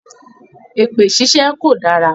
Èpè ṣíṣe kò dára.